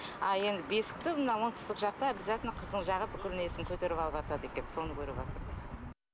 а енді бесікті енді мына оңтүстік жақта обязательно қыздың жағы бүкіл несін көтеріп алыватады екен соны көріватырмыз